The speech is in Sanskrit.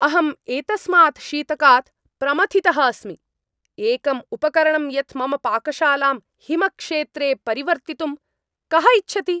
अहम् एतस्मात् शीतकात् प्रमथितः अस्मि। एकम् उपकरणं यत् मम पाकशालां हिमक्षेत्रे परिवर्तितुं कः इच्छति?